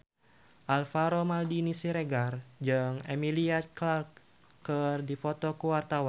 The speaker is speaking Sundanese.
Alvaro Maldini Siregar jeung Emilia Clarke keur dipoto ku wartawan